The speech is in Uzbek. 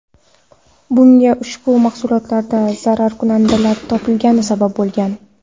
Bunga ushbu mahsulotlarda zararkunandalar topilgani sabab bo‘lgan.